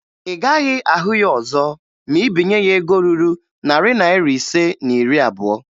Ị gaghị ahụ ya ọzọ ma ị binye ya ego ruru narị naịra ise na iri abụo